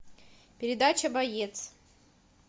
передача боец